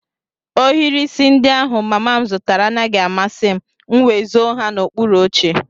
Ohiri isi ndị ahụ mama m zụtara anaghị amasị m, m nwé zó ha n'okpuru oche